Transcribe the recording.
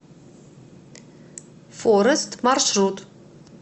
форест маршрут